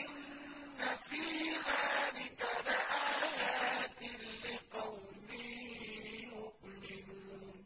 إِنَّ فِي ذَٰلِكَ لَآيَاتٍ لِّقَوْمٍ يُؤْمِنُونَ